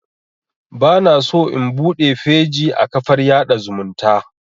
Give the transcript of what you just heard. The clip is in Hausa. Bana so in buɗe feji a kafar yaɗa zumunta